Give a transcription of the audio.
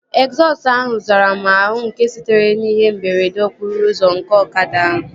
Egzọsụ ahụ zara m àhú nke sitere n'ihe mberede okporo ụzọ nke ọkada ahụ